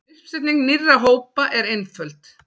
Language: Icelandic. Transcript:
Uppsetning nýrra hópa er einföld.